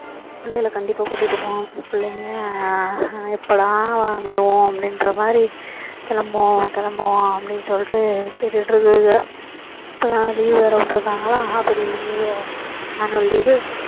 பிள்ளைகள கண்டிப்பா கூட்டிட்டு போகணும் பிள்ளைங்க எப்படா வருவோம் அப்படின்ற மாதிரி கிளம்புவோம் கிளம்புவோம் அப்படின்னு சொல்லிட்டு கேட்டுட்டு இருக்குங்க இப்போதான் leave வேற விட்டு இருக்காங்களா half yearly leave annual leave வு